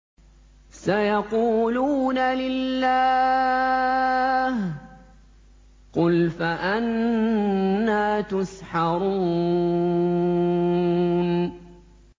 سَيَقُولُونَ لِلَّهِ ۚ قُلْ فَأَنَّىٰ تُسْحَرُونَ